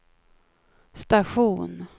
station